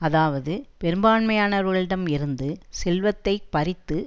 அதாவது பெரும்பான்மையானவர்களிடம் இருந்து செல்வத்தை பறித்து